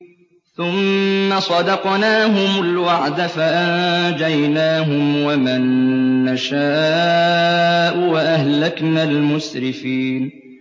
ثُمَّ صَدَقْنَاهُمُ الْوَعْدَ فَأَنجَيْنَاهُمْ وَمَن نَّشَاءُ وَأَهْلَكْنَا الْمُسْرِفِينَ